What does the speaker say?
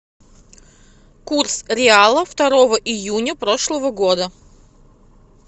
курс реала второго июня прошлого года